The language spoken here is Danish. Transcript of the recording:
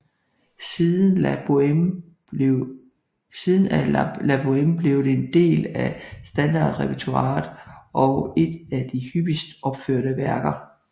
Siden er La Bohème blevet en del af standardrepertoiret og et af de hyppigst opførte værker